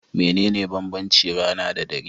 Mene ne banbanci rana da dare?